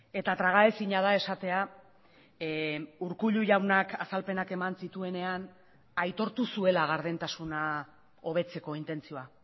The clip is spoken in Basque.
eta tragaezina da esatea urkullu jaunak azalpenak eman zituenean aitortu zuela gardentasuna hobetzeko intentzioa